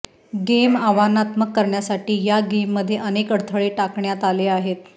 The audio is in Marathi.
गेम आव्हानात्मक करण्यासाठी या गेममध्ये अनेक अडथळे टाकण्यात आले आहेत